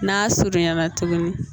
N'a surunya na tuguni